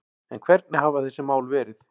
En hvernig hafa þessi mál verið